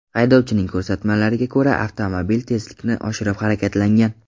Haydovchining ko‘rsatmalariga ko‘ra, avtomobil tezlikni oshirib harakatlangan.